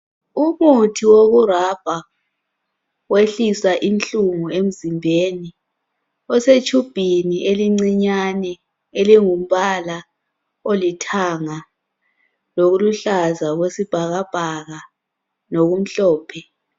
Umuthi wokurabha wehlisa inhlungu emzimbeni. Osetshubhini elincinyane elingumpala olithanga loluhlaza okwesibhakabhaka lokumhophe.